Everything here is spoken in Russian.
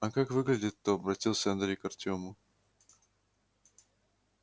а как выглядит-то обратился андрей к артёму